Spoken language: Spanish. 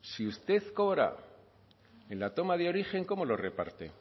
si usted cobra en la toma de origen cómo lo reparte